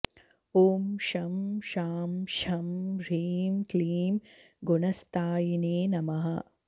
ॐ शं शां षं ह्रीं क्लीं गुणस्थायिने नमः